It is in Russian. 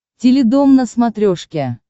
теледом на смотрешке